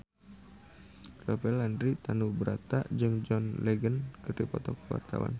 Rafael Landry Tanubrata jeung John Legend keur dipoto ku wartawan